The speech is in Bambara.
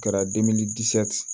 Kɛra